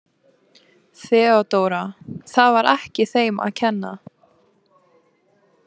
THEODÓRA: Það var ekki þeim að kenna.